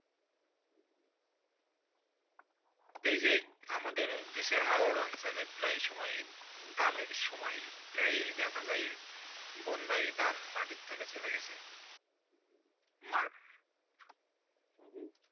যেই যে আমাদের দেশে হয়রান অঞ্চেলে প্রায় সময় ধানে সময় প্রায় দেখা যায় বন্যা ধান মাটি তোলে চলে গেছে.